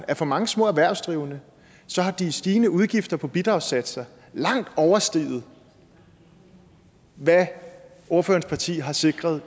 at for mange små erhvervsdrivende har de stigende udgifter til bidragssatser langt oversteget hvad ordførerens parti har sikret